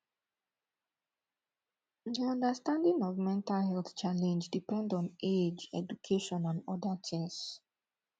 di understanding of mental health challenge depend on age education and oda things